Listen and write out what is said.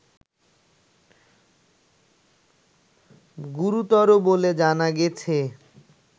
গুরুতর বলে জানা গেছে